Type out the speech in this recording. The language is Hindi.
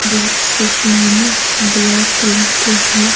बहोत चश्मा न ब्लैक कलर के है।